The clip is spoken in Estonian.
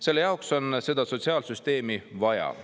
"Selle jaoks on seda sotsiaalsüsteemi vaja.